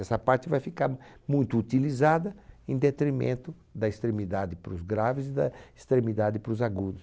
Essa parte vai ficar muito utilizada em detrimento da extremidade para os graves e da extremidade para os agudos.